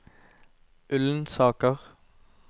Ullensaker